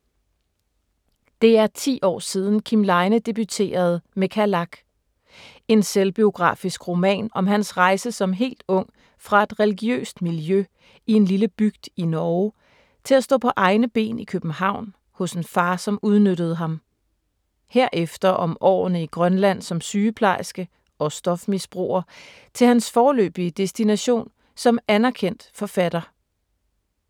Det er 10 år siden Kim Leine debuterede med Kalak. En selvbiografisk roman om hans rejse som helt ung fra et religiøst miljø i en lille bygd i Norge til at stå på egne ben i København hos en far, som udnyttede ham. Herefter om årene i Grønland som sygeplejerske og stofmisbruger til hans foreløbige destination som anerkendt forfatter.